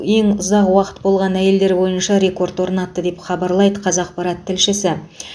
ең ұзақ уақыт болған әйелдер бойынша рекорд орнатты деп хабарлайды қазақпарат тілшісі